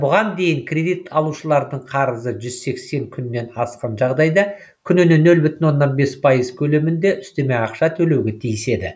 бұған дейін кредит алушылардың қарызы жүз сексен күннен асқан жағдайда күніне нөл бүтін оннан бес пайыз көлемінде үстеме ақша төлеуге тиіс еді